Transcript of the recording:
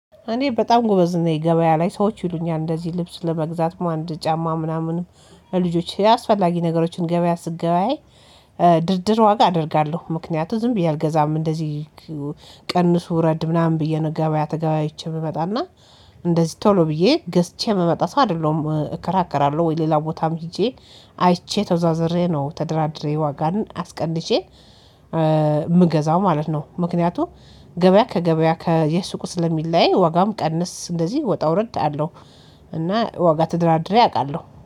እኔ በጣም ጎበዝ ነኝ ገበያ ላይ ሰዎች ይሉኛል እንደዚህ ልብስ ለመግዛት ማን ጫማ ምናምንም ለልጆች አስፈላጊ ነገሮችን ገበያ ስገበያይ። ድርድር ዋጋ አደርጋለሁ ምክንያቱ ዝም ብዬ አልገዛም እንደዚህ ቀንሱ ረድ ምናምን ብዬ ነው። ገበያ ተገቢ አይቼ ብመጣና እንደዚህ ቶሎ ብዬ ገዝቼ ምመጣ ሰው አይደለሁም እከራከራለሁ ወይ ሌላ ቦታም ሄጄ አይቼ ተዟዝሬ ነው ተደራድሬ ዋጋን አስቀንሼ ምገዛው ማለት ነው። ምክንያቱም ገበያ ከገበያ ከየሱቁ ስለሚለያይ ዋጋውም ቀንስ እንደዚህ ወጣ ወረድ አለው። እና ዋጋ ተደራድሬ አውቃለሁ